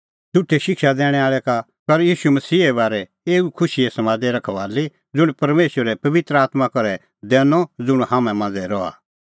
झ़ुठै शिक्षा दैणैं आल़ै का कर ईशू मसीहे बारै एऊ खुशीए समादे रखबाली ज़ुंण परमेशरै पबित्र आत्मां करै दैनअ ज़ुंण हाम्हां मांझ़ै रहा